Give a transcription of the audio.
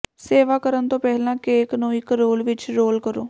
ਸੇਵਾ ਕਰਨ ਤੋਂ ਪਹਿਲਾਂ ਕੇਕ ਨੂੰ ਇੱਕ ਰੋਲ ਵਿੱਚ ਰੋਲ ਕਰੋ